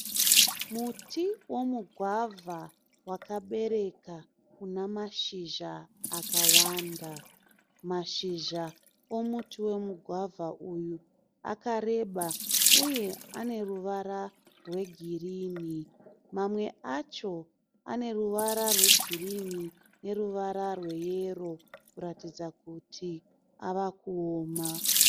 Muti womugwavha wakabereka una mashizha akawanda. Mashizha omuti womugwavha uyu akareba uye ane ruwara rwe girini. Mamwe acho ane ruwara rwe girini ne ruwara rwe yero kuratidza kuti avakuoma.